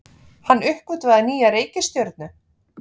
Hann uppgötvaði nýja reikistjörnu!